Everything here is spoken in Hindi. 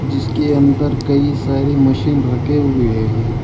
जिसके अंदर कई सारे मशीन रखें हुए हैं।